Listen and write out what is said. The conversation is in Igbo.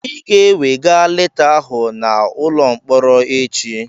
Ị ga-ewega leta ahụ n'ụlọ mkpọrọ echi